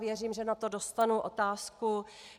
Věřím, že na to dostanu otázku.